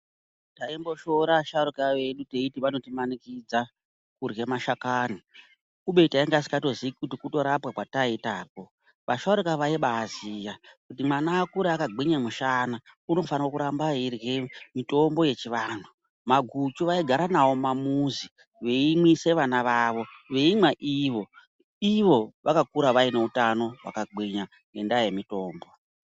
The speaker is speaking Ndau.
Taimboshoora asharuka vedu teiti vanotimanikidza kurye mashakani, kubeni tanga tisingatozii kuti kutorapwa kwataiitako. Vasharuka vaibaziya kuti mwana akure akagwinya mushana unofanire kuramba eirya mitombo yechivantu. Maguchu vaigara nawo mumamuzi, veimwise vana vavo, veimwa ivo. Ivo vakakura vane utano hwakagwinya ngendaa yemitombo.